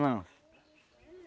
Não.